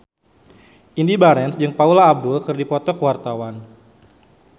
Indy Barens jeung Paula Abdul keur dipoto ku wartawan